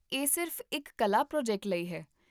ਇਹ ਸਿਰਫ਼ ਇੱਕ ਕਲਾ ਪ੍ਰੋਜੈਕਟ ਲਈ ਹੈ